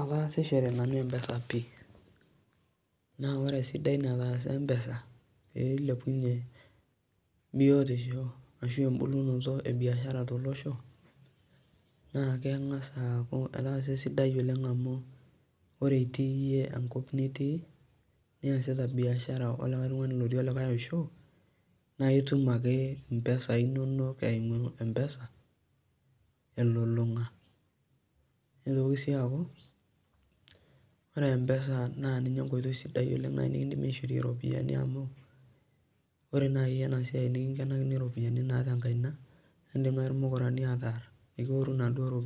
atasishore nanu empesa pii, naa ore esidai natasa empesa pee ilepunye biotisho ashu ebulunoto ebiashara, naa kengas aaku etasa esidai amu ore itii iyie enkop nitii niyasita biashara olikae tungani otii likae osho, naa itum ake impesai inonok elulunga nitoki sii aku ore empesa naa ninye eweji sidai, amu ore pee ibung too inkaik naa ekidim ilmukurani atooru, neeku